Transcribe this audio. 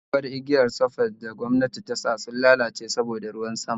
sabuwar igiyar surface da gwamnati tasa sun lalace saboda ruwan sama